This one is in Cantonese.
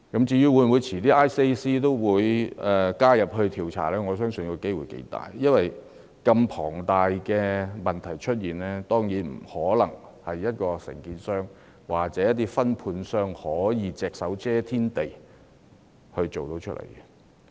至於 ICAC 稍後會否加入調查，我相信機會頗高，因為如此龐大的問題當然不可能由某承建商或分判商隻手遮天地一手造成。